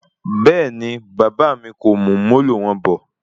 Rárá, bàbá mí kò mú Molo wọn bọ̀